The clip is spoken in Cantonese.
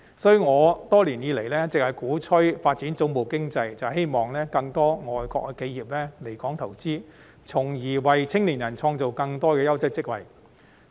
所以，我多年以來一直鼓吹發展總部經濟，正是希望更多外國企業來港投資，從而為青年人創造更多優質職位。